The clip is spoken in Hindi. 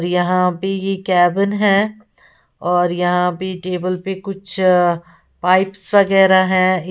यहां बी केबिन है और यहां बी टेबल पे कुछ पाइप्स वगैरा है।